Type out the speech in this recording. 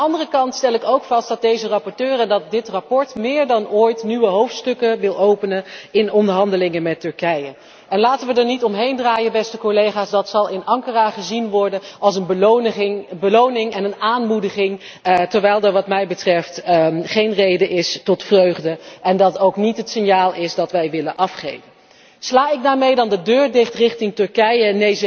Maar aan de andere kant stel ik ook vast dat deze rapporteur en dat dit verslag meer dan ooit nieuwe hoofdstukken wil openen in de onderhandelingen met Turkije. Laten we er niet omheen draaien, beste collega's, dat zal in Ankara gezien worden als een beloning en een aanmoediging, terwijl er wat mij betreft geen reden is tot vreugde en dit ook niet het signaal is dat wij willen afgeven. Sla ik daarmee dan de deur dicht richting Turkije?